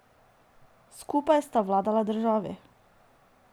Skupaj sta vladala državi.